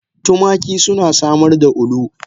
Tumaki suna samar da ulu.